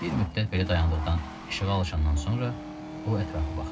Bir müddət belə dayandıqdan, işığa alışandan sonra o ətrafa baxdı.